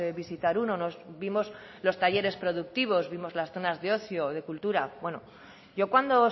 visitar uno nos vimos los talleres productivos vimos las zonas de ocio de cultura bueno yo cuando